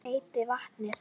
Hvað heitir vatnið?